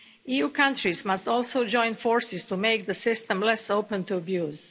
EU countries must also join forces to make the system less open to abuse.